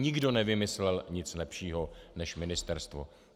Nikdo nevymyslel nic lepšího než ministerstvo.